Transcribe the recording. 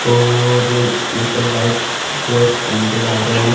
और ये सब व्हाइट क्लॉथस पेहन के जा रहे हैं।